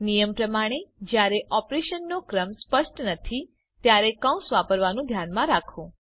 નિયમ પ્રમાણે જયારે ઓપરેશનનો ક્રમ સ્પષ્ટ નથી ત્યારે કૌંસ વાપરવાનું ધ્યાનમાં રાખો